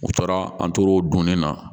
U taara an tor'o dun na